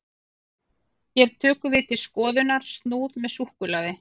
hér tökum við til skoðunar snúð með súkkulaði